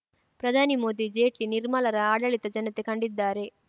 ಪ್ರಧಾನಿ ಮೋದಿ ಜೇಟ್ಲಿ ನಿರ್ಮಲಾರ ಆಡಳಿತ ಜನತೆ ಕಂಡಿದ್ದಾರೆ